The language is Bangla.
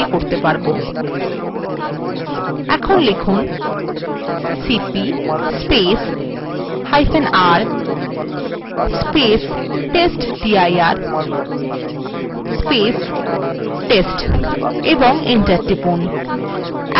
এখন লিখুন cpr testdir/test ও enter টিপুন